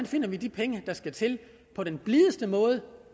finder de penge der skal til på den blideste måde